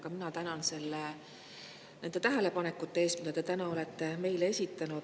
Ka mina tänan nende tähelepanekute eest, mis te täna olete meile esitanud.